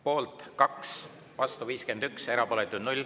Poolt on 2, vastu 51, erapooletuid on 0.